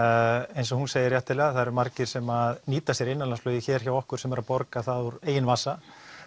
eins og hún segir réttilega það eru margir sem nýta sér innanlandsflugið hér hjá okkur sem eru að borga úr eigin vasa